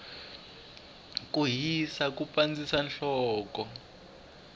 ku hisa ku pandzisa nhloko